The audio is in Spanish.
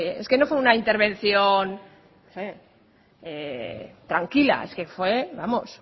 es que no fue una intervención tranquila es que fue vamos